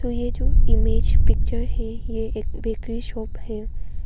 ये जो image picture है ये एक बेकरी शॉप है।